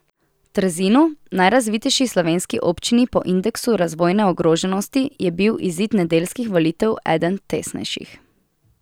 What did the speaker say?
V Trzinu, najrazvitejši slovenski občini po indeksu razvojne ogroženosti, je bil izid nedeljskih volitev eden tesnejših.